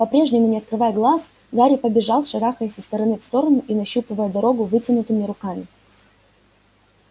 по-прежнему не открывая глаз гарри побежал шарахаясь из стороны в сторону и нащупывая дорогу вытянутыми руками